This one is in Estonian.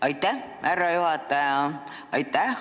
Aitäh, härra juhataja!